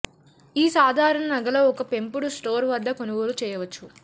ఈ అసాధారణ నగల ఒక పెంపుడు స్టోర్ వద్ద కొనుగోలు చేయవచ్చు